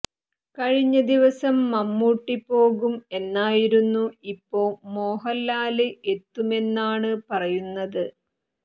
കഴിഞ്ഞ ദിവസം മമ്മൂട്ടി പോകും എന്നായിരുന്നു ഇപ്പോ മോഹന്ലാല് എത്തുമെന്നാണ് പറയുന്നത്